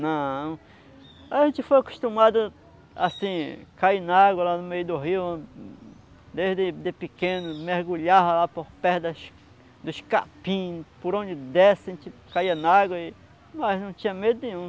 Não, a gente foi acostumado assim, a cair na água lá no meio do rio desde de pequeno, mergulhava lá por perto dos dos capim, por onde desse a gente caía na água, e mas não tinha medo nenhum.